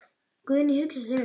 Guðný hugsar sig um.